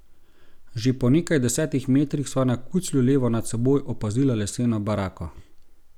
Že po nekaj deset metrih sva na kuclju levo nad seboj opazila leseno barako.